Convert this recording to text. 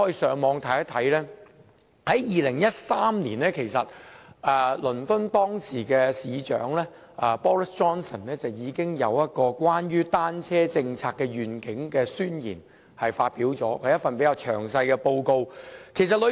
在2013年，倫敦當時的市長 Boris JOHNSON 已就單車政策願景發表了一份宣言，是一份比較詳細的報告。